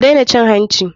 Ku dena cin hanci.